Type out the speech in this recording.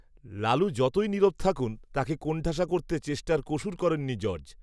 লালু যতই নীরব থাকুন তাঁকে কোণঠাসা করতে চেষ্টার কসুর করেননি জর্জ